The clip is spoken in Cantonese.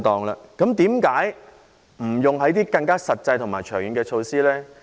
為何不採用更實際及更長遠的措施呢？